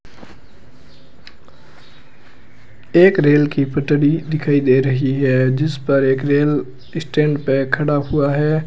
एक रेल की पटरी दिखाई दे रही है जिस पर एक रेल स्टैंड पे खड़ा हुआ है।